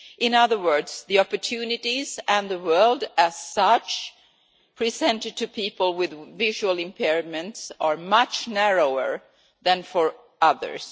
In other words, the opportunities and the world as such presented to people with visual impairments are much narrower than for others.